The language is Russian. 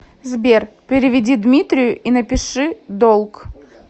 сбер переведи дмитрию и напиши долг